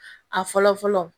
A fɔlɔ fɔlɔ